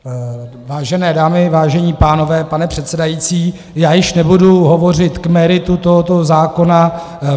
Vážené dámy, vážení pánové, pane předsedající, já již nebudu hovořit k meritu tohoto zákona.